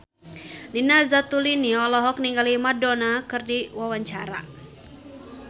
Nina Zatulini olohok ningali Madonna keur diwawancara